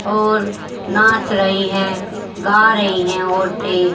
और नाच रही हैं गा रही हैं औरतें।